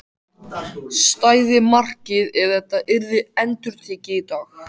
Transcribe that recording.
Stæði markið ef þetta yrði endurtekið í dag?